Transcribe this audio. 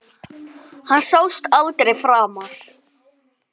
Hann sást aldrei framar.